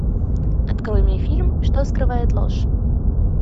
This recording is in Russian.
открой мне фильм что скрывает ложь